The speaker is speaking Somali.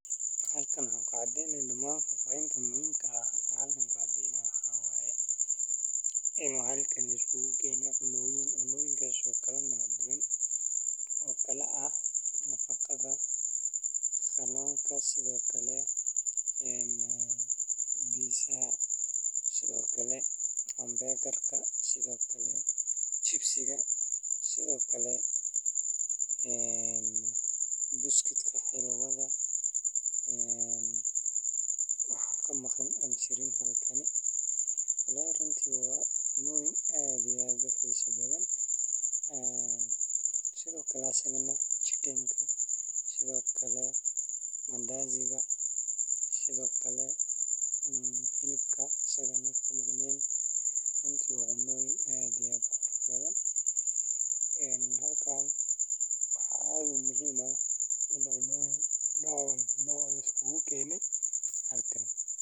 Halkan waxan ku cadeynaya fafahin koban ini cunoyin kala duwan laiskugu kenay Cuntooyinka kala duwan waa qayb muhiim ah oo nolosha bini’aadamka ah, waxayna kala yihiin cuntooyinka fudud, kuwa culus, kuwa dhaqameed iyo kuwa casri ah. Cuntooyinka dhaqameed waxaa ka mid ah canjeero, soor, baasto Soomaali, iyo muufo, kuwaasoo laga sameeyo galley, sarreen, ama qamadi. Dhinaca kale, cuntooyinka casriga ah waxaa ka mid ah kuwaasoo inta badan laga helo maqaaxiyaha magaalada. Waxaa kale oo jira cuntooyin laga sameeyo khudaar iyo hilib sida bariis digaag leh, suugo iyo salad, taasoo nafaqo badan leh.